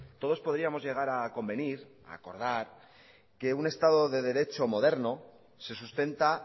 todos podríamos llegar a convenir a acordar que un estado de derecho moderno se sustenta